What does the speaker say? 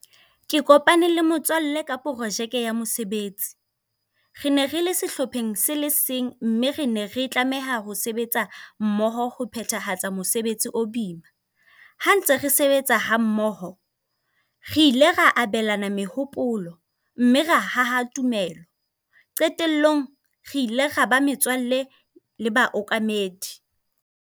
Ke kopane le motswalle ka projeke ya mosebetsi. Re ne re le sehlopheng se le seng, mme re ne re tlameha ho sebetsa mmoho ho phethahatsa mosebetsi o boima. Ha ntse re sebetsa ha mmoho, re ile ra abelana mehopolo, mme ra haha tumelo. Qetellong, re ile ra ba metswalle le baokamedi.